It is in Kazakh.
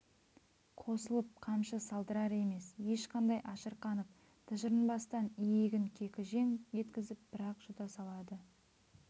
қосылып қамшы салдырар емес ешқандай ашырқанып тыжырынбастан иегін кекіжең еткізіп бір-ақ жұта салады